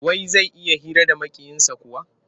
Wai zai iya hira da Maƙiyinsa kuwa?